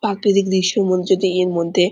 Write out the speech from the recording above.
প্রাকৃতিক দৃশ্য নিমজ্জিত এর মধ্যে-এ ।